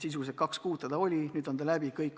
Sisuliselt kaks kuud seda oli, nüüd on see läbi.